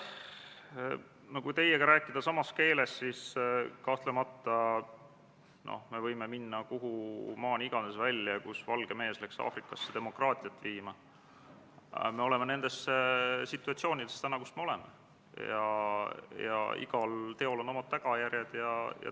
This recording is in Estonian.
Austatud Riigikogu, panen hääletusele Vabariigi Valitsuse esitatud Riigikogu otsuse "Kaitseväe kasutamise tähtaja pikendamine Eesti riigi rahvusvaheliste kohustuste täitmisel ÜRO rahuvalvemissioonil Liibanonis" eelnõu 63.